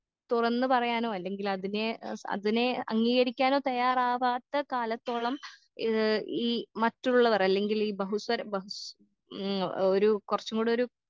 തുറന്ന് പറയാനോ അല്ലെങ്കിലതിനെ ഏ അതിനെ അംഗീകരിക്കാനോ തയ്യാറാവാത്ത കാലത്തോളം ഏ ഈ മറ്റുള്ളവർ അല്ലെങ്കിലീ ബഹുസ്വര ബഹുസ് ഉം ഒരു കൊറച്ചും കൂടൊരു